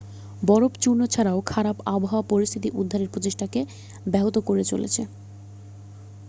বরফ চূর্ণ ছাড়াও খারাপ আবহাওয়া পরিস্থিতি উদ্ধারের প্রচেষ্টাকে ব্যাহত করে চলেছে